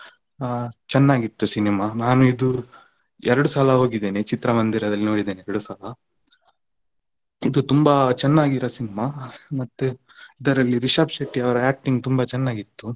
ಅಹ್ ಚೆನ್ನಾಗಿತ್ತು cinema ನಾನು ಇದು ಎರಡು ಸಲ ಹೋಗಿದ್ದೇನೆ ಚಿತ್ರಮಂದಿರದಲ್ಲಿ ನೋಡಿದ್ದೇನೆ ಎರಡು ಸಲ. ಇದು ತುಂಬಾ ಚೆನ್ನಾಗಿರೋ cinema ಮತ್ತೆ ಇದರಲ್ಲಿ ರಿಷಬ್ ಶೆಟ್ಟಿ ಅವರ acting ತುಂಬಾ ಚೆನ್ನಾಗಿತ್ತು.